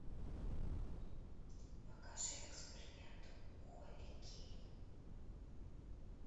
покажи эксперимент холли кейн